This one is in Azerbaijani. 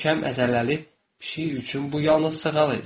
Möhkəm əzələli pişik üçün bu yalnız sığal idi.